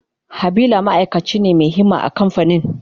Habila ma'aikaci ne mai himma a kamfanin.